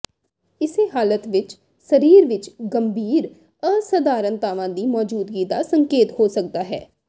ਇਸੇ ਹਾਲਤ ਵਿਚ ਸਰੀਰ ਵਿਚ ਗੰਭੀਰ ਅਸਧਾਰਨਤਾਵਾਂ ਦੀ ਮੌਜੂਦਗੀ ਦਾ ਸੰਕੇਤ ਹੋ ਸਕਦਾ ਹੈ